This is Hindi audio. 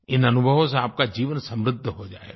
इन अनुभवों से आपका जीवन समृद्ध हो जायेगा